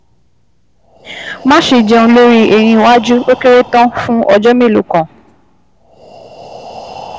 Máṣe jẹun lórí eyín iwájú, ó kéré tán fún ọjọ́ mélòó kan